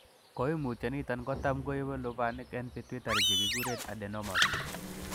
Koimutioniton kotam koibu lubanik en pituitary chekekuren adenomas.